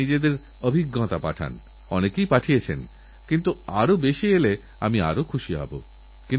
এবছর গুজরাত আমবন একতাবন শহীদ বন নামক অনেক প্রকল্পকে বনমহোৎসব হিসাবে পালন করেছে এবং কোটি কোটিগাছ লাগানোর অভিযান চালিয়েছে